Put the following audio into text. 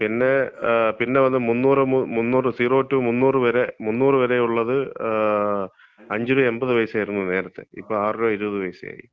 പിന്നെ, പിന്നെ വന്ന് 300, 0 - 300 വരെ 300 വരെയുള്ളത് 5 രൂപ 80 പൈസ ആയിരുന്നു നേരത്തെ ഇപ്പോ 6 രൂപ 20 പൈസയായി.